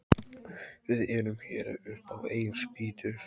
Við erum hér upp á eigin spýtur.